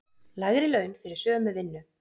Lægri laun fyrir sömu vinnu